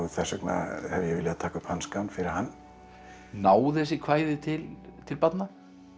þess vegna hef ég viljað taka upp hanskann fyrir hann ná þessi kvæði til til barna